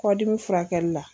Kɔdimi furakɛli la.